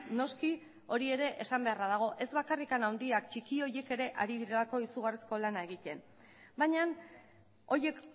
noski hori ere esan beharra dago ez bakarrik handiak txiki horiek ere ari direlako izugarrizko lana egiten baina horiek